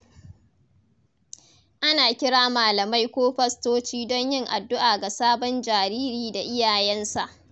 Ana kira malamai ko fastoci don yin addu’a ga sabon jariri da iyayensa.